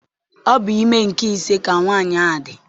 Ọ bụ ime nke ise ka nwaanyị a dị.